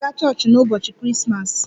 Ị ga-aga chọọchị n'ụbọchị Krismas?